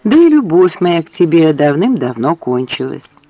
да и любовь моя к тебе давным-давно кончилась